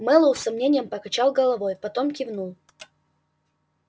мэллоу с сомнением покачал головой потом кивнул